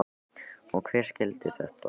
Og hver skyldi þetta nú vera?